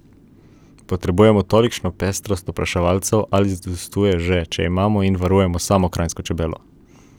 Potrebujemo tolikšno pestrost opraševalcev ali zadostuje že, če imamo in varujemo samo kranjsko čebelo?